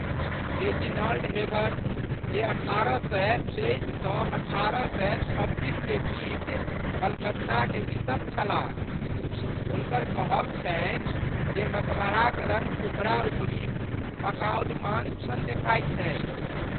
Reginald Heber, जे अठारह सए तेइस सँ अठारह सए छब्बीस के बीच कलकत्ताक बिशप छलाह, हुनकर कहब छनि जे मकबराक रङ्ग उपरा उपरी पकाओल मांस सन देखाइत छै।